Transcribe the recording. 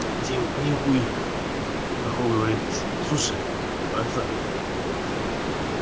делать нехуй хохол говорит слушай братан